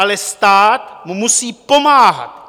Ale stát mu musí pomáhat.